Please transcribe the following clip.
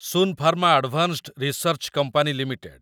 Sun Pharma Advanced Research Company limited